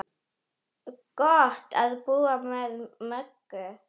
Gott að búa með Möggu.